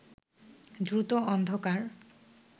দ্রুত অন্ধকার